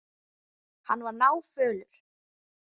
Hann var náfölur.